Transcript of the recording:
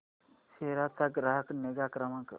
सेरा चा ग्राहक निगा क्रमांक